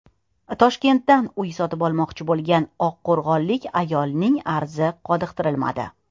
Toshkentdan uy sotib olmoqchi bo‘lgan oqqo‘rg‘onlik ayolning arzi qoniqtirilmadi.